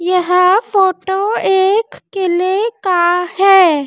यह फोटो एक किले का है।